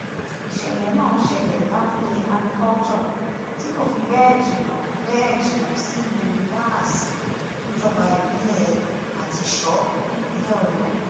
ìṣẹ̀lẹ̀ náà ṣẹlẹ̀ lábúlé agriculture tí kò fi bẹ́ẹ̀ jìnnà bẹ́ẹ̀ jìnnà sílùú báàsì níjọba ìbílẹ̀ àtìṣọ́ nípínlẹ̀ ọ̀yọ́